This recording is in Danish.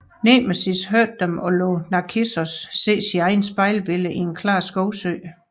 Nemesis hørte dem og lod Narkissos se sit eget spejlbillede i en klar skovsø